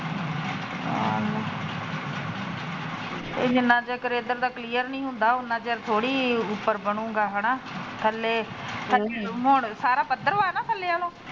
ਇਹ ਜਿਨ੍ਹਾ ਚਿਰ ਦਾ ਕਲੀਅਰ ਨੀ ਹੁੰਦਾ ਉਨਾ ਚਿਰ ਥੋਰੀ ਉਪਰ ਬਣੁਗਾ ਹਨਾ ਥਲੇ ਹੁਣ ਸਾਰਾ ਪੱਧਰਾ ਵਾ ਨਾ ਥੱਲੇ ਵਾਲਾ।